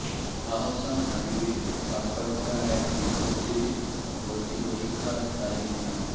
আহসান হাবীবের স্বাক্ষর করা এক বিজ্ঞপ্তিতে ভর্তিপরীক্ষার তারিখ না